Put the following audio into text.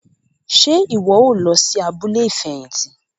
Ṣe iwọ o lọ sí abúlé ifẹhinti?